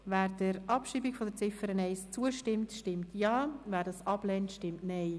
Wer der Abschreibung der Ziffer 1 zustimmt, stimmt Ja, wer dies ablehnt, stimmt Nein.